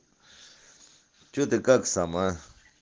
что ты как сам а